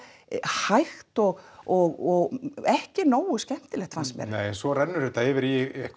hægt og og ekki nógu skemmtilegt fannst mér nei en svo rennur þetta yfir